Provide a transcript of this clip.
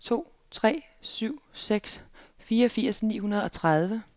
to tre syv seks fireogfirs ni hundrede og tredive